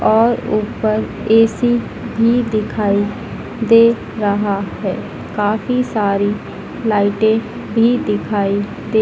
और ऊपर ऐ_सी भी दिखाई दे रहा हैं काफी सारी लाइटें भी दिखाई दे--